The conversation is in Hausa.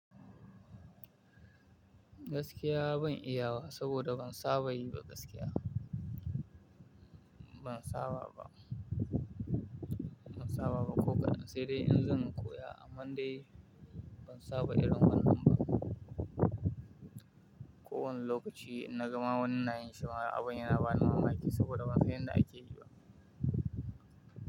Gaskiya ban iya wa saboda ban saba yi ba gaskiya, ban saba ba, ban saba ba ko kaɗan. Sai dai in zan koya amma dai ban saba irin wannan ba. Ko wani lokaci in naga ma wani nayin shi ma abin yana bani mamaki saboda ban san yadda ake yi ba.